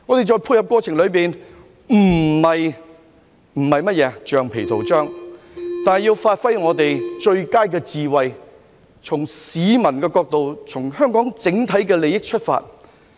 在配合過程裏，我們不是橡皮圖章，但要發揮我們最佳的智慧，從市民的角度、從香港的整體利益出發。